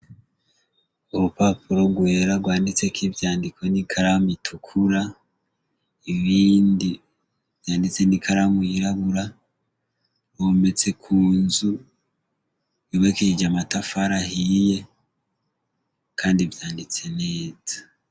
Urupapuro rwera rwanditseko ivyandiko n'ikaramu itukura, ibindi vyanditse n'ikaramu yirabura, bometse ku nzu yubakishije amatafari ahiye, kandi vyanditse neza.